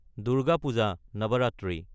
Durga Puja (Navratri)